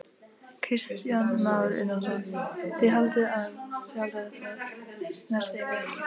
Kristján Már Unnarsson: Þið haldið að þetta snerti ykkur ekki?